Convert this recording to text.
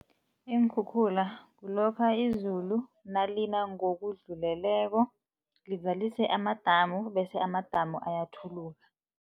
Iinkhukhula kulokha izulu nalina ngokudluleleko, lizalise amadamu bese amadamu ayathuluka.